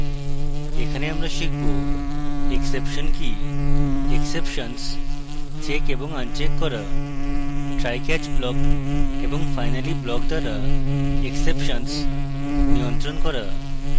এখানে আমরা শিখব: exception কি এবং exceptions checked এবং আনচেক করা trycatch block এবং finally block block দ্বারা exceptions নিয়ন্ত্রণ করা